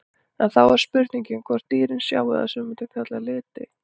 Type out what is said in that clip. En þá er spurningin hvort dýrin sjái það sem við mundum kalla liti?